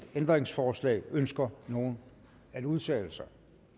ændringsforslag ønsker nogen at udtale sig